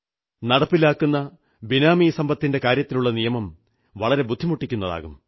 നടപ്പിലാക്കുന്ന ബിനാമി സമ്പത്തിന്റെ കാര്യത്തിലുള്ള നിയമം വളരെ ബുദ്ധിമുട്ടിക്കുന്നതാകും